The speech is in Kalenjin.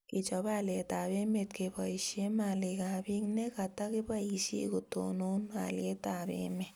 kechop haliyet ab emet keboishe malik ab piik ne katakibaishe kotonon halyet ab emet